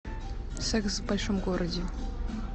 секс в большом городе